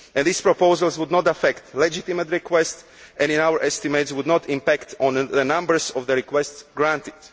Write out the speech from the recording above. These proposals would not affect legitimate requests and our estimates would not impact on the numbers of the requests granted.